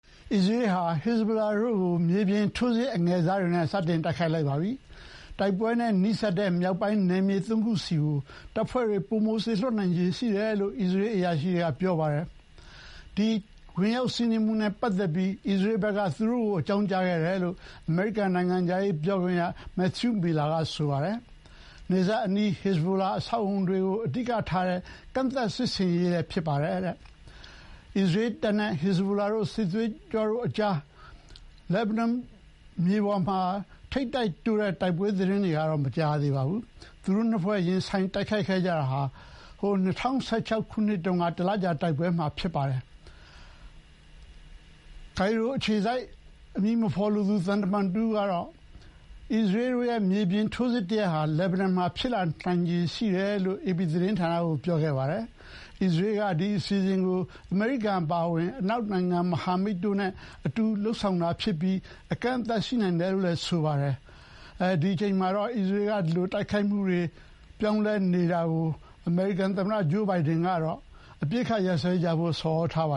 အစ္စရေးဟာ ဟက်ဇ်ဘိုလာတို့ကို မြေပြင်ထိုးစစ်အငယ်စားတွေနဲ့ စတင်တိုက်ခိုက်ပြီး တိုက်ပွဲနဲ့နီးစပ်တဲ့ မြောက်ပိုင်းနယ်မြေ ၃ ခုဆီ တပ်ဖွဲ့တွေ ပိုစေလွှတ်နိုင်ခြေရှိတယ်လို့ အစ္စရေးအရာရှိတွေက ပြောပါတယ်။ ဒီ ဝင်ရောက်စီးနင်းမှုနဲ့ပတ်သက်ပြီး အစ္စရေးဘက်က သူတို့ကို အကြောင်း ကြားခဲ့တယ်လို့ အမေရိကန် နိုင်ငံခြားရေးပြောခွင့်ရ Matthew Miller က ဆိုပါတယ်။ နယ်စပ်အနီး ဟက်ဇ်ဘိုလာ အဆောက်အအုံတွေကို အဓိကထားတဲ့ ကန့်သတ်စစ်ဆင်ရေးလည်း ဖြစ်ပါတယ်။ အစ္စရေးတပ်တွေနဲ့ ဟက်ဇ်ဘိုလာ စစ်သွေးကြွတို့ကြား လက်ဘနွန်မြေပေါ်မှာ ထိပ်တိုက်တိုးတဲ့တိုက်ပွဲသတင်းတွေတော့ မကြားရသေးပါဘူး။ သူတို့နှစ်ဖွဲ့ ရင်ဆိုင် တိုက်ခိုက်ခဲ့ကြတာဟာ ၂၀၁၆ ခုနှစ်မှာ တလကြာတိုက်ပွဲတုန်းက နောက်ဆုံးအကြိမ်ဖြစ်ပါတယ်။ ကိုင်ရိုအခြေစိုက် အမည်မဖော်လိုသူ သံတမန်တဦးကတော့ အစ္စရေးတို့ရဲ့ မြေပြင်ထိုးစစ်တရပ်ဟာ လက်ဘနွန်မှာ ဖြစ်လာတော့မယ်လို့ အေပီသတင်းဌာနကို ပြောခဲ့ပါတယ်။ အစ္စရေးက ဒီအစီအစဥ်ကို အမေရိကန်အပါအဝင် အနောက်မဟာမိတ်တို့နဲ့ အတူလုပ်ဆောင်တာဖြစ်ပြီး အကန့်အသတ်တော့ ရှိနိုင်တယ်လို့လည်း ဆိုပါတယ်။ အစ္စရေးက ဒီလို လက်ဘနွန်အပေါ် မြေပြင်ထိုးစစ်ဆင်ဖို့ ပြင်ဆင်နေချိန်မှာပဲ အမေရိကန် သမ္မတ ဂျိုးဘိုင်ဒန်ကတော့ အပစ်အခတ် ရပ်စဲကြဖို့ ဆော်ဩထားပ